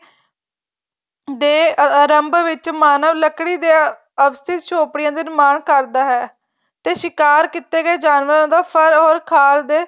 ਦੇ ਆਰੰਭ ਵਿੱਚ ਮਾਨਵ ਲੱਕੜੀ ਦੇ ਅਵਸਿਤ ਝੋਪੜੀਆਂ ਦੇ ਨਿਰਮਾਣ ਕਰਦਾ ਹੈ ਤੇ ਸਿਕਾਰ ਕੀਤੇ ਗਏ ਜਾਨਵਰਾਂ ਦਾ ਫ਼ਰ or ਖਾਰ ਦੇ